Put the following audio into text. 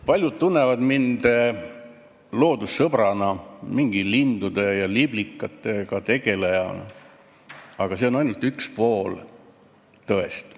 Paljud tunnevad mind loodussõbrana, mingi lindude ja liblikatega tegelejana, aga see on ainult üks pool tõest.